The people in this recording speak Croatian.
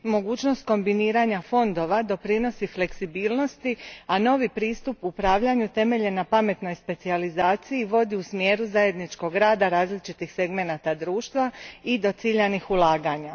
Mogućnost kombiniranja fondova doprinosi fleksibilnosti, a novi pristup upravljanju utemeljen na pametnoj specijalziaciji vodi u smjeru zajedničkog rada različitih segmenata društva i do ciljanih ulaganja.